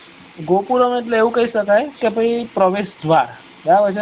ગોક્રુરમ એટલે એવું કઇ સકાય કે ભાઈ પ્રવેશ દ્વાર બરાબર છ